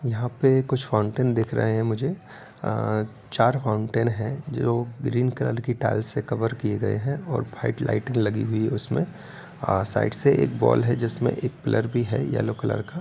यहाँ पे कुछ फाउंटेन दिख रहे हैं मुझे आ चार फाउंटेन है जो ग्रीन कलर की टाइल्स से कवर किये गए हैं और व्हाइट लाइट लगी हुई है। उसमे साइड से एक वाल है जिसमे एक पिलर भी है येलो कलर का।